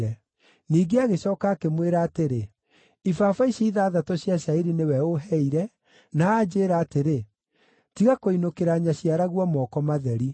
Ningĩ agĩcooka akĩmwĩra atĩrĩ, “Ibaba ici ithathatũ cia cairi nĩwe ũũheire, na anjĩĩra atĩrĩ, ‘Tiga kũinũkĩra nyaciaraguo moko matheri.’ ”